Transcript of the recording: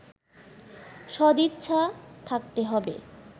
সদিচ্ছা থাকতে হবে